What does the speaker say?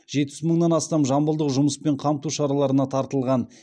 жетпіс мыңнан астам жамбылдық жұмыспен қамту шараларына тартылған